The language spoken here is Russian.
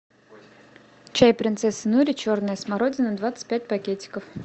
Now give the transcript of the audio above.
чай принцесса нури черная смородина двадцать пять пакетиков